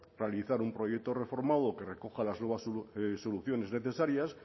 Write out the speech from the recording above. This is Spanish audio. realizar un proyecto reformado que recoja las nuevas soluciones necesarias